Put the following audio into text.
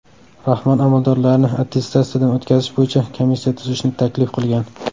Rahmon amaldorlarni attestatsiyadan o‘tkazish bo‘yicha komissiya tuzishni taklif qilgan.